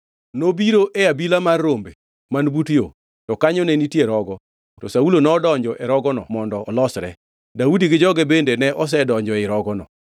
Nobiro e abila mar rombe man but yo; to kanyo ne nitie rogo, to Saulo nodonjo e rogono mondo olosre. Daudi gi joge bende ne osedonjo ei rogono.